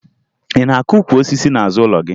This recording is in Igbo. Ị na-akụ ukwu osisi n'azụ ụlọ gị?